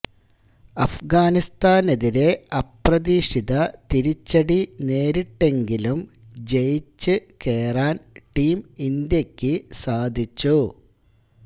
അഫ്ഗാനിസ്ഥാനെതിരെ അപ്രതീക്ഷിത തിരിച്ചടി നേരിട്ടെങ്കിലും ജയിച്ച് കേറാന് ടീം ഇന്ത്യക്ക് സാധിച്ചു